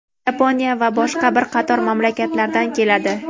Yaponiya va boshqa bir qator mamlakatlardan keladi.